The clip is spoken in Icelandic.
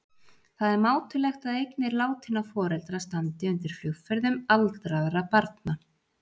Það er mátulegt að eignir látinna foreldra standi undir flugferðum aldraðra barna.